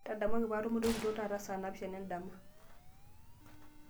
ntadamuaki paatumore orkitok taata saa napishana endama